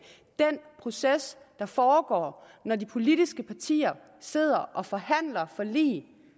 den proces der foregår når de politiske partier sidder og forhandler forlig